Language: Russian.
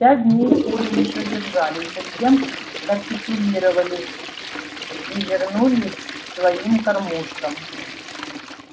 пять дней куры ещё держались затем капитулировали и вернулись к своим кормушкам